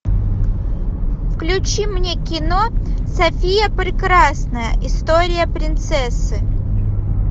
включи мне кино софия прекрасная история принцессы